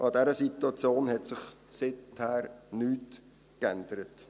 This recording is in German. Auch an dieser Situation hat sich seither nichts geändert.